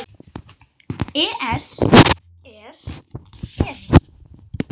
ES, es eða.